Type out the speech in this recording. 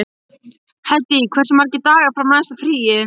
Hedí, hversu margir dagar fram að næsta fríi?